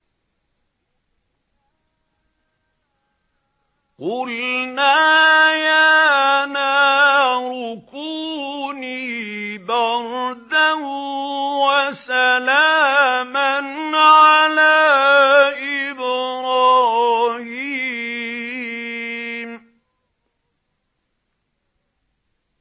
قُلْنَا يَا نَارُ كُونِي بَرْدًا وَسَلَامًا عَلَىٰ إِبْرَاهِيمَ